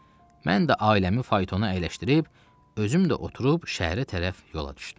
Mən də ailəmi faytona əyləşdirib özüm də oturub şəhərə tərəf yola düşdüm.